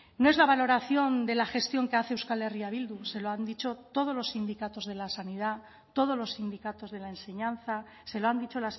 no es la valoración de la gestión que hace euskal herria bildu se lo han dicho todos los sindicatos de la sanidad todos los sindicatos de la enseñanza se lo han dicho